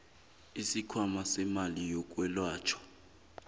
isikhwama semali yokwelatjhwa